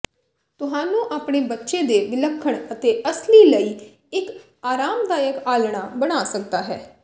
ਤੁਹਾਨੂੰ ਆਪਣੇ ਬੱਚੇ ਦੇ ਵਿਲੱਖਣ ਅਤੇ ਅਸਲੀ ਲਈ ਇੱਕ ਆਰਾਮਦਾਇਕ ਆਲ੍ਹਣਾ ਬਣਾ ਸਕਦਾ ਹੈ